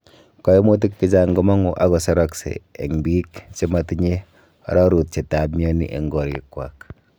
Koimutik chechang' komong'u ak koserakse en biik chemotinye ororutietab mioni en korikwak.